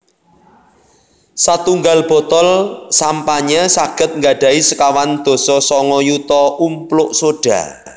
Satunggal botol sampanye saged nggadhahi sekawan dasa sanga yuta umpluk sodha